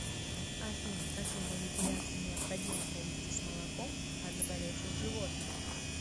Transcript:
афина какие манипуляции необходимо провести с молоком от заболевших животных